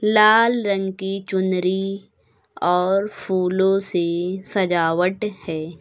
लाल रंग की चुनरी और फूलों से सजावट है।